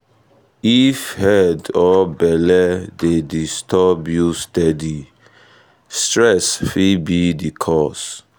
if head or belle dey disturb you steady stress fit be the cause.